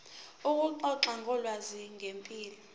ukuxoxa ngolwazi ngempilo